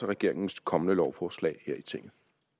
regeringens kommende lovforslag her i tinget